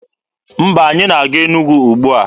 Mba, anyị na-aga Enugwu ugbua.